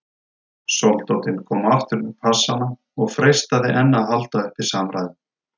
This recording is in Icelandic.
Soldátinn kom aftur með passana og freistaði enn að halda uppi samræðum.